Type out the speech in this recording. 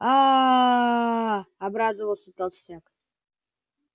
ааа обрадовался толстяк